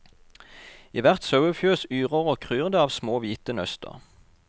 I hvert sauefjøs yrer og kryr det av små hvite nøster.